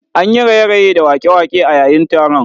An yi raye-raye da waƙe-waƙe a yayin taron